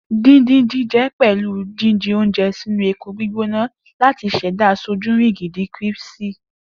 Din-din-jin jẹ pẹlu jijẹ ounjẹ sinu epo gbigbona lati ṣẹda sojurigindin críṣpy